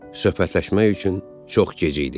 Söhbətləşmək üçün çox gec idi.